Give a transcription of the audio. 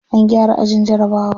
An gyara ajin jarabawa.